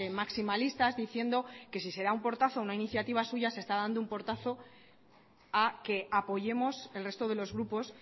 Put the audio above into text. maximalistas diciendo que si se da un portazo a una iniciativa suya se está dando un portazo a que apoyemos el resto de los grupos